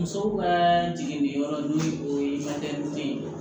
Musow ka jigin ni yɔrɔ n'o ye o ye maduden ye